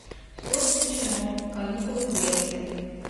все включено каникулы в греции